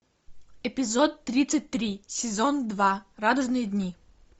эпизод тридцать три сезон два радужные дни